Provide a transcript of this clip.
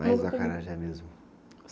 Mais o acarajé mesmo?